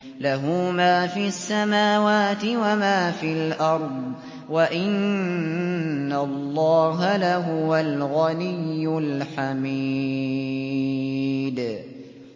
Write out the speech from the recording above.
لَّهُ مَا فِي السَّمَاوَاتِ وَمَا فِي الْأَرْضِ ۗ وَإِنَّ اللَّهَ لَهُوَ الْغَنِيُّ الْحَمِيدُ